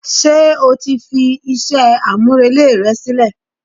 ṣe o ti fi iṣẹ a-mú-relé rẹ silẹ?